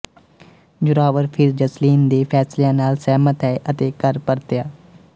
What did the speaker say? ਜ਼ੋਰਾਵਰ ਫਿਰ ਜਸਲੀਨ ਦੇ ਫੈਸਲਿਆਂ ਨਾਲ ਸਹਿਮਤ ਹੈ ਅਤੇ ਘਰ ਪਰਤਿਆ